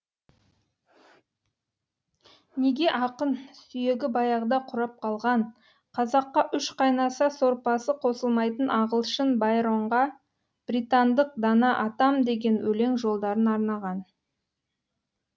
неге ақын сүйегі баяғыда қурап қалған қазаққа үш қайнаса сорпасы қосылмайтын ағылшын байронға британдық дана атам деген өлең жолдарын арнаған